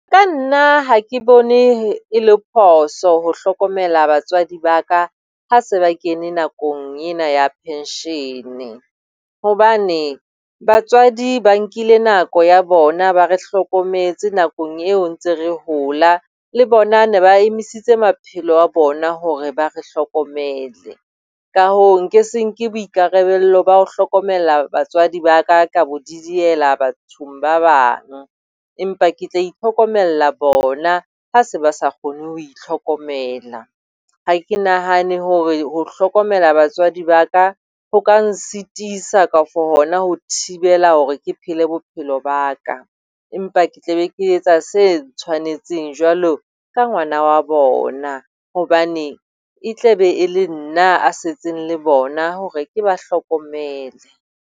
Ka nna ha ke bone e le phoso ho hlokomela batswadi ba ka ha se ba kene nakong ena ya pension, hobane batswadi ba nkile nako ya bona ba re hlokometse nakong eo re ntse re hola. Le bona ne ba emisitse maphelo a bona hore ba re hlokomele ka hoo nka se nke boikarabelo ba ho hlokomela batswadi ba ka ka bo di diela bathong ba bang. Empa ke tla itlhokomela bona ha se ba sa kgone ho itlhokomela. Ha ke nahane hore ho hlokomela batswadi ba ka, ho ka nsitisa kafo hona ho thibela hore ke phele bophelo ba ka. Empa ke tla be ke etsa se tshwanetseng jwalo ka ngwana wa bona, hobane e tla be e le nna ya setseng le bona hore ke ba hlokomele.